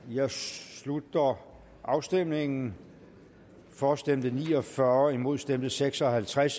jeg slutter afstemningen for stemte ni og fyrre imod stemte seks og halvtreds